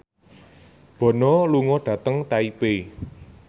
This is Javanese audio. Bono lunga dhateng Taipei